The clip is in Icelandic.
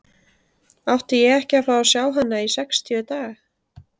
Átti ég ekki að fá að sjá hana í sextíu daga?